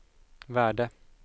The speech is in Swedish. värde